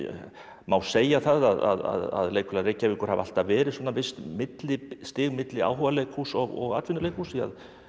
má segja að Leikfélag Reykjavíkur hafi alltaf verið visst millistig milli áhugaleikhúss og atvinnuleikhúss því